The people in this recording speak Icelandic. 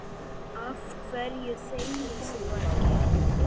Af hverju þegir þú ekki?